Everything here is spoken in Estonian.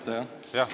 Tulen ette, jah.